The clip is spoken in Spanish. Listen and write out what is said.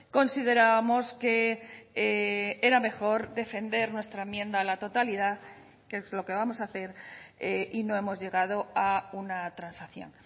considerábamos que era mejor defender nuestra enmienda a la totalidad que es lo que vamos a hacer y no hemos llegado a una transacción